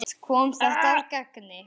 Allt kom þetta að gagni.